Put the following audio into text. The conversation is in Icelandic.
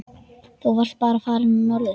Þá varstu bara farinn norður.